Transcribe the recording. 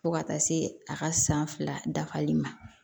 Fo ka taa se a ka san fila dafali ma